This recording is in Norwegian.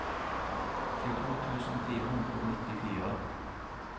tjueto tusen fire hundre og nittifire